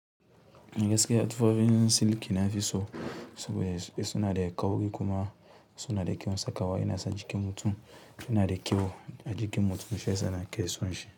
Yanzu da suke haddufa filin siliki na iso, saboda suna da kyau ga kuma suna da kyawun sakawa. Ina sa jikin mutum, suna da kyau a jikin mutum, shiyas nake so shi.